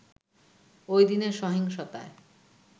ওইদিনের সহিংসতায়